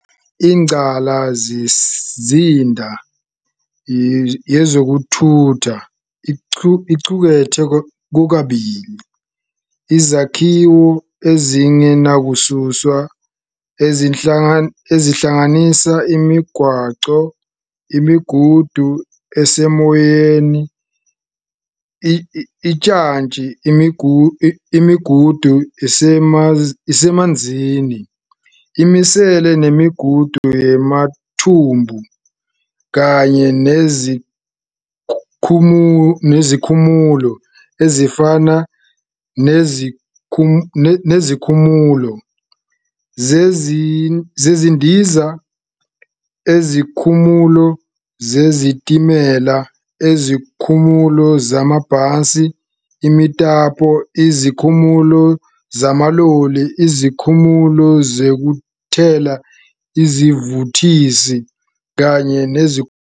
Ingqalasizinda yezokuthutha iqukethe kokubili izakhiwo ezingenakususwa, ezihlanganisa imigwaqo, imigudu esemoyeni, ujantshi, imigudu esemanzini, imisele, nemigudu yamathumbu, kanye nezikhumulo ezifana nezikhumulo zezindiza, izikhumulo zezitimela, izikhumulo zamabhasi, imitapo, izikhumulo zamaloli, izikhumulo zokuthela isivuthisi, kanye nezikhumulo zolwandle.